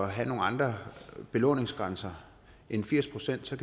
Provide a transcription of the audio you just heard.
have nogle andre belåningsgrænser end firs pct